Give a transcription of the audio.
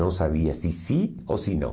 Não sabia se sim ou se não.